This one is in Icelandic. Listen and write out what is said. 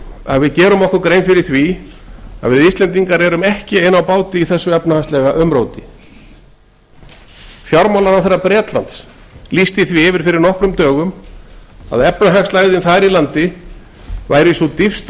að við íslendingar gerum okkur grein fyrir því að við erum ekki ein á báti í þessu efnahagslega umróti fjármálaráðherra bretlands lýsti því yfir fyrir nokkrum dögum að efnahagslægðin þar í landi væru sú dýpsta